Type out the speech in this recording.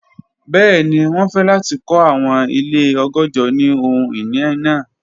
Bẹẹni, wọn fẹ lati kọ awọn ile ọgọ́jọ ni ohun-ini naa.